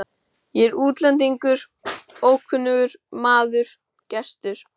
Ég er útlendingur, ókunnugur maður, gestur.